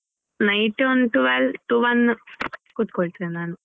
Night ಒಂದು twelve to one ಕೂತ್ಕೊಳ್ತೆನೆ ನಾನು.